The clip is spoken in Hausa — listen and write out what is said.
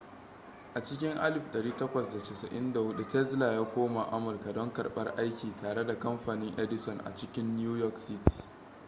a cikin 1884 tesla ya koma amurka don karɓar aiki tare da kamfanin edison a cikin new york city